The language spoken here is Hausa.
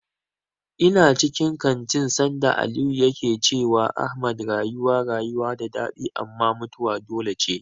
Ina cikin kantin sanda Aliyu yake cewa Ahmad rayuwa rayuwa da daɗi amma mutuwa dole ce.